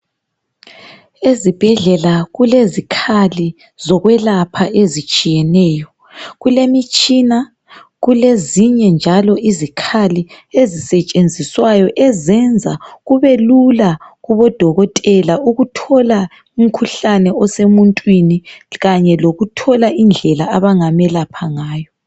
Ezibhedlela kulezikhali zokwelapha ezitshiyeneyo. Kulemitshina, kulezinye njalo izikhali ezisetshenziswayo ezenza kube lula kubo dokotela ukuthola umkhuhlane osemuntwini kanye lokuthola indlela abangamelapha ngayo.